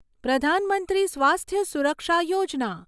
પ્રધાન મંત્રી સ્વાસ્થ્ય સુરક્ષા યોજના